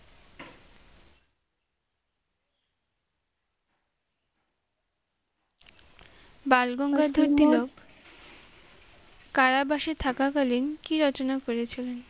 বালগঙ্গা কারাবাসে থাকা কালিন কী রচনা করেছিলেন?